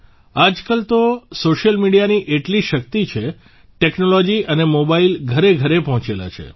આજકાલ તો સોશિયલ મિડિયાની એટલી શક્તિ છે ટેક્નોલોજી અને મોબાઇલ ઘરેઘરે પહોંચેલા છે